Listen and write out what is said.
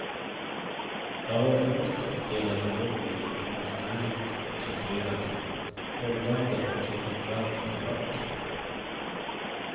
Jag var yngst och delade rum med en konstnärligt intresserad, grubblande och inåtvänd kamrat.